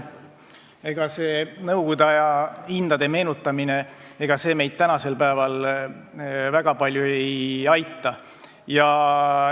Ega see nõukogude aja hindade meenutamine meid tänasel päeval väga palju ei aita.